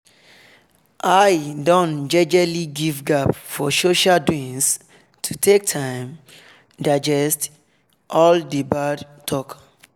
i don jejely give gap for social doings to take time digest all d bad talk